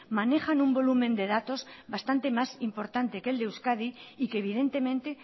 manejan un volumen de datos bastante más importante que el de euskadi y que evidentemente